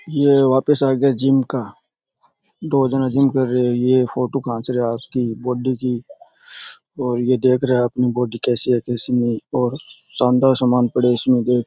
ये वापस आ गया जिम का दो जना जिम कर रहिया है ये फोटो खींच रहिया है आपकी बॉडी की और ये देख रहे हैं अपनी बॉडी कैसी है कैसी नही और शानदार सामान पड़ा है इसमें देख--